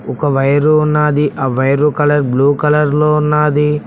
ఒక వైరు ఉన్నాది ఆ వైరు కలర్ బ్లూ కలర్ లో ఉన్నాది.